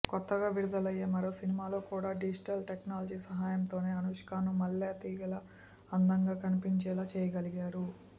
కొత్తగా విడుదలయ్యే మరో సినిమాలోకూడా డిజిటల్ టెక్నాలజీ సాయంతోనే అనుష్కను మల్లెతీగలా అందంగా కనిపించేలా చేయగలిగారు